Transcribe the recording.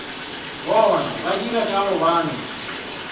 banna ba dira ka gobane